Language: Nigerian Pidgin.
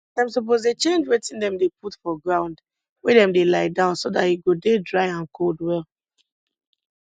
dem suppose dey change wetin dem dey put for ground wey dem dey lie down so dat e go dey dry and cold well